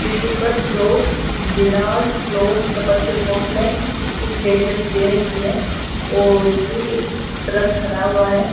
जिसके ऊपर plots Vilas plots commercial complex कुछ डिटेल्स दे रखी हैं और ये एक ट्रक खड़ा है।